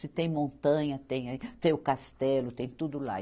Se tem montanha, tem, aí tem o castelo, tem tudo lá.